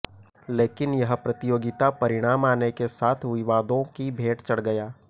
लेकिन यह प्रतियोगिता परिणाम आने के साथ विवादों की भेंट चढ़ गया